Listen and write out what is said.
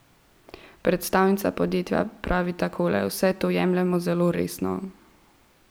Predstavnica podjetja pravi takole: 'Vse to jemljemo zelo resno.